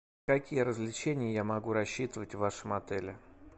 какие развлечения я могу рассчитывать в вашем отеле